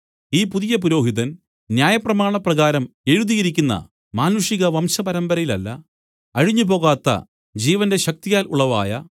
ഈ പുതിയ പുരോഹിതൻ ന്യായപ്രമാണപ്രകാരം എഴുതിയിരിക്കുന്ന മാനുഷിക വംശപരമ്പരയിലല്ല അഴിഞ്ഞുപോകാത്ത ജീവന്റെ ശക്തിയാൽ ഉളവായ